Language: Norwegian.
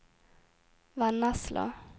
Vennesla